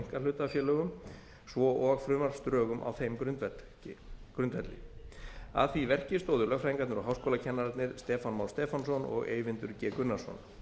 einkahlutafélögum svo og frumvarpsdrögum á þeim grundvelli að því verki stóðu lögfræðingarnir og háskólakennararnir stefán már stefánsson og eyvindur g gunnarsson